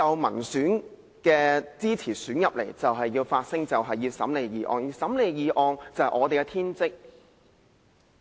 民選立法會議員需要發聲，審理議案是我們的天職。